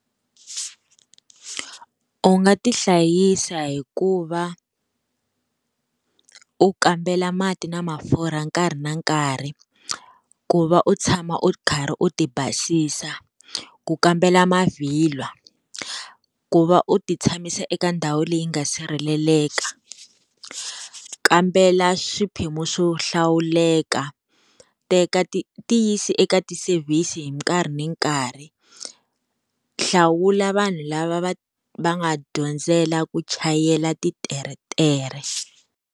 U nga tihlayisa hikuva u kambela mati na mafurha nkarhi na nkarhi ku va u tshama u karhi u ti basisa, ku kambela mavhilwa, ku va u ti tshamisa eka ndhawu leyi nga sirheleleka, kambela swiphemu swo hlawuleka teka ti yisa eka ti-service hi nkarhi ni nkarhi hlawula vanhu lava va va nga dyondzela ku chayela titeretere.